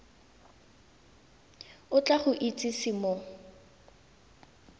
o tla go itsise mo